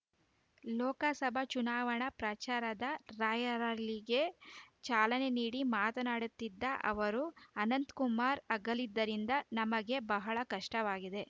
ಲೋಕಸಭಾ ಚುನಾವಣಾ ಪ್ರಚಾರದ ರಾಯರಲಿಗೆ ಚಾಲನೆ ನೀಡಿ ಮಾತನಾಡುತ್ತಿದ್ದ ಅವರು ಅನಂತಕುಮಾರ್‌ ಅಗಲಿದ್ದರಿಂದ ನಮಗೆ ಬಹಳ ಕಷ್ಟವಾಗಿದೆ